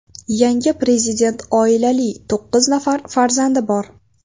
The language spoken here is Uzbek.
Yangi prezident oilali, to‘qqiz nafar farzandi bor.